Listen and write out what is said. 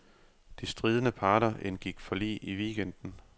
De stridende parter indgik forlig i weekenden.